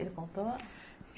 Ele contou?